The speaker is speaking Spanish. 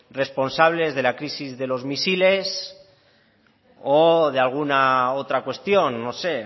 responsables de la crisis de los misiles o de alguna otra cuestión no sé